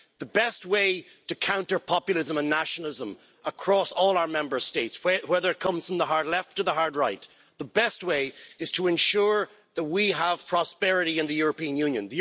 The best way to counter populism and nationalism across all our Member States, whether it comes from the hard left or the hard right, is to ensure that we have prosperity in the European Union.